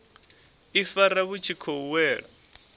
ifara vhu tshi khou wela